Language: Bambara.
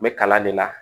N bɛ kalan de la